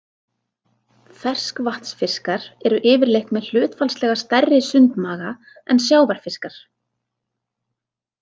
Ferskvatnsfiskar eru yfirleitt með hlutfallslega stærri sundmaga en sjávarfiskar.